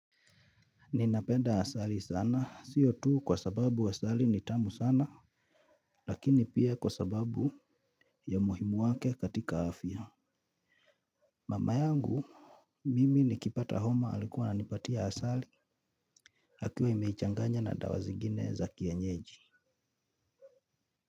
Ninapenda asali sana, sio tu kwa sababu asali ni tamu sana, lakini pia kwa sababu ya umuhimu wake katika afya. Mama yangu mimi nikipata homa alikuwa nanipatia asali, akiwa imeichanganya na dawa zigine za kienyeji.